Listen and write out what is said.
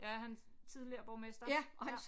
Ja han er tidligere borgmester ja